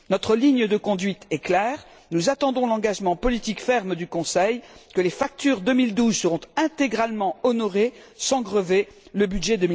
Notre ligne de conduite est claire nous attendons l'engagement politique ferme du Conseil que les factures 2012 seront intégralement honorées sans grever le budget